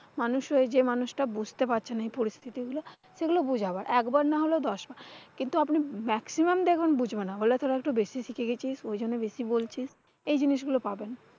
মানুষ হয়ে যে মানুষটা বুঝতে পারছে না এই পরিস্থিতি গুলা, সেগুলা বুঝাবো একবার নাহলেও দশবার। কিন্তু আপনি maximum দেখবেন বুঝবে না। বলে ফেলবে একটু বেশি শিখে গেছিস ঐজন্যে বেশি বলছিস এই জিনিস গুলো পাবেন।